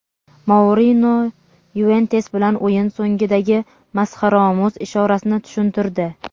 Mourino "Yuventus" bilan o‘yin so‘ngidagi masxaraomuz ishorasini tushuntirdi.